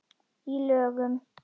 Í lögum